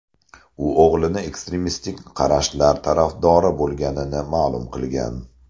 U o‘g‘li ekstremistik qarashlar tarafdori bo‘lganini ma’lum qilgan.